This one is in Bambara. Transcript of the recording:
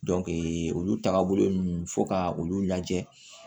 olu taagabolo ninnu fo ka olu lajɛ